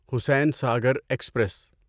Hussainsagar express